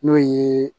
N'o ye